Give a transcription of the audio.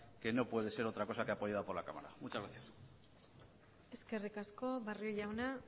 que no puede ser otra cosa que apoyada por la cámara muchas gracias eskerrik asko barrio jauna